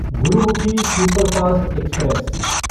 Gurmukhi superfast express